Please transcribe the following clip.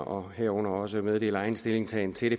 og herunder også meddele egen stillingtagen til